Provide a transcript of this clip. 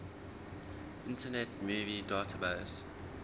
internet movie database